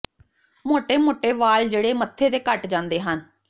ਮੋਟੇ ਮੋਟੇ ਵਾਲ ਜਿਹੜੇ ਮੱਥੇ ਤੇ ਘੱਟ ਜਾਂਦੇ ਹਨ